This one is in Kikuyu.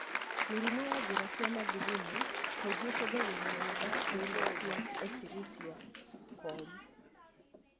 Mĩrimũ ya njĩra cia mathugumo kaingĩ ĩcungagĩrĩrio nĩ bakteria cia Escherichia coli.